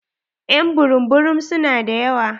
Ƴ'an burum burum su na da yawa.